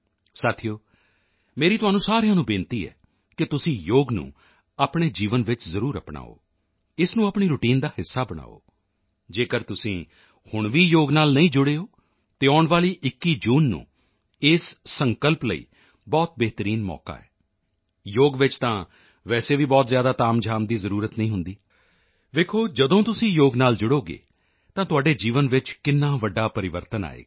ਸਾਥੀਓ ਮੇਰੀ ਤੁਹਾਨੂੰ ਸਾਰਿਆਂ ਨੂੰ ਬੇਨਤੀ ਹੈ ਕਿ ਤੁਸੀਂ ਯੋਗ ਨੂੰ ਆਪਣੇ ਜੀਵਨ ਵਿੱਚ ਜ਼ਰੂਰ ਅਪਣਾਓ ਇਸ ਨੂੰ ਆਪਣੀ ਰੁਟੀਨ ਦਾ ਹਿੱਸਾ ਬਣਾਓ ਜੇਕਰ ਤੁਸੀਂ ਹੁਣ ਵੀ ਯੋਗ ਨਾਲ ਨਹੀਂ ਜੁੜੇ ਹੋ ਤਾਂ ਆਉਣ ਵਾਲੀ 21 ਜੂਨ ਇਸ ਸੰਕਲਪ ਲਈ ਬਹੁਤ ਬਿਹਤਰੀਨ ਮੌਕਾ ਹੈ ਯੋਗ ਵਿੱਚ ਤਾਂ ਵੈਸੇ ਵੀ ਬਹੁਤ ਜ਼ਿਆਦਾ ਤਾਮਝਾਮ ਦੀ ਜ਼ਰੂਰਤ ਨਹੀਂ ਹੁੰਦੀ ਦੇਖੋ ਜਦੋਂ ਤੁਸੀਂ ਯੋਗ ਨਾਲ ਜੁੜੋਗੇ ਤਾਂ ਤੁਹਾਡੇ ਜੀਵਨ ਵਿੱਚ ਕਿੰਨਾ ਵੱਡਾ ਪਰਿਵਰਤਨ ਆਏਗਾ